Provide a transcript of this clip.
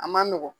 A man nɔgɔn